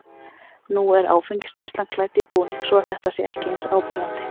Nú er áfengisneyslan klædd í búning svo að þetta sé ekki eins áberandi.